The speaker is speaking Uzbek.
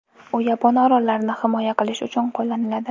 U yapon orollarini himoya qilish uchun qo‘llaniladi.